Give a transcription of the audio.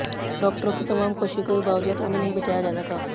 डॉक्टरों की तमाम कोशिशों के बावजूद उन्हें नहीं बचाया जा सका